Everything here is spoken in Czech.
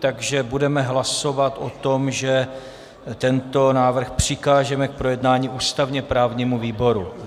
Takže budeme hlasovat o tom, že tento návrh přikážeme k projednání ústavně-právnímu výboru.